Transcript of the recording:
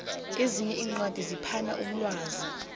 ezinye iincwadi ziphana umlwazi